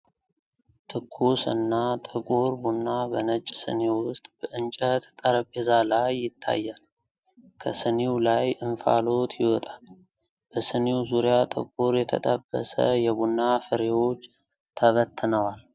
ትኩስ እና ጥቁር ቡና በነጭ ስኒ ውስጥ በእንጨት ጠረጴዛ ላይ ይታያል። ከስኒው ላይ እንፋሎት ይወጣል። በስኒው ዙሪያ ጥቁር የተጠበሰ የቡና ፍሬዎች ተበትነዋል።